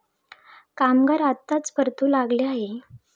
कामगार आताच परतू लागले आहे.